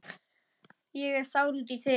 Ég er sár út í þig.